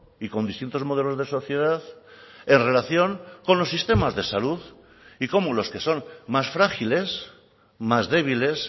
y con distintos modelos de sociedad en relación con los sistemas de salud y cómo los que son más frágiles más débiles